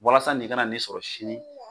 Walasa nin kana n'e sɔrɔ sini.